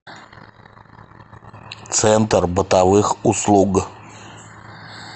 центр бытовых услуг